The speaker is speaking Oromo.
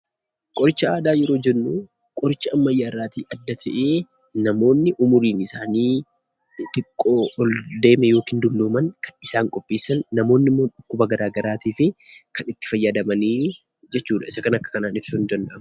Qoricha aadaa yeroo jennu qoricha ammayyaa irraatii adda ta'ee, namoonni umuruun isaanii xixiqqoo ol deeme yookiin dullooman kan isaan qopheessan, namoonni immoo dhukkuba garaa garaatiifi kan itti fayyadamanii jechuudha. Isa kana akka kanaan ibsuun ni danda'ama.